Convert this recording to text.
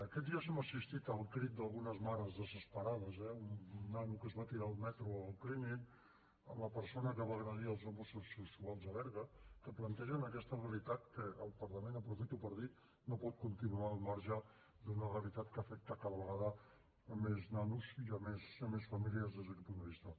aquests dies hem assistit al crit d’algunes mares desesperades eh un nano que es va tirar al metro al clínic la persona que va agredir els homosexuals a berga que plantegen aquesta realitat i el parlament aprofito per dir ho no pot continuar al marge d’una realitat que afecta cada vegada més nanos i més famílies des d’aquest punt de vista